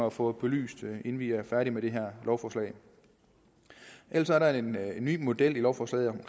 at få belyst inden vi er færdige med det her lovforslag ellers er der en ny model i lovforslaget